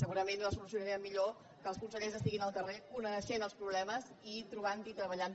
segurament els solucionarem millor quan els consellers estiguin al carrer coneixent els problemes i trobant i treballant les seves solucions